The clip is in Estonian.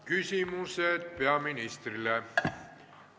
Küsimused peaministrile.